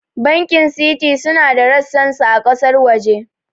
Bankin Citi suna da ressan su a ƙasar waje